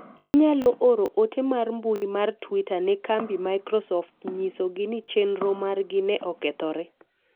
inyalo oro ote mar mbui mar twita ne kambi microsoft nyiso gi ni chenro margi ne okethore